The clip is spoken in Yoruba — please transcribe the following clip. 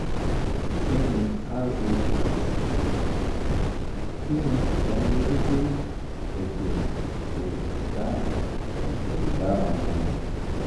kini rh factor kini idaniloju pe ejee o bara ejee o bara won mu